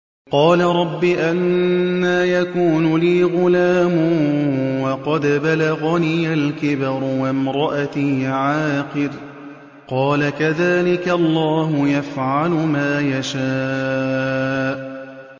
قَالَ رَبِّ أَنَّىٰ يَكُونُ لِي غُلَامٌ وَقَدْ بَلَغَنِيَ الْكِبَرُ وَامْرَأَتِي عَاقِرٌ ۖ قَالَ كَذَٰلِكَ اللَّهُ يَفْعَلُ مَا يَشَاءُ